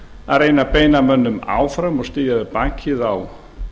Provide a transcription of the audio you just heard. að reyna að beina mönnum áfram og styðja við bakið á